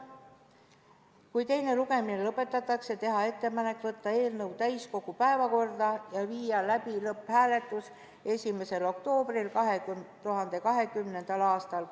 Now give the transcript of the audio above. Kui teine lugemine lõpetatakse, siis teha ettepanek võtta eelnõu täiskogu päevakorda ja viia läbi lõpphääletus 1. oktoobril 2020. aastal.